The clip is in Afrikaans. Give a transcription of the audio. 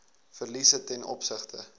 verliese ten opsigte